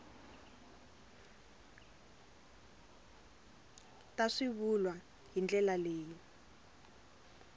ta swivulwa hi ndlela leyi